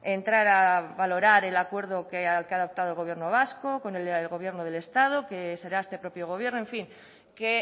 entrar a valorar el acuerdo que ha adoptado el gobierno vasco con el gobierno del estado que será este propio gobierno en fin que